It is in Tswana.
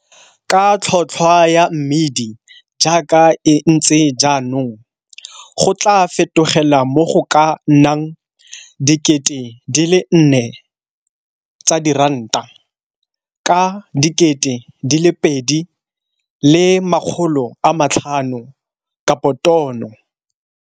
Ka tlhotlhwa ya mmidi jaaka e ntse jaanong go tlaa fetogela mo go ka nnang R4 000, ka R2 500-tono.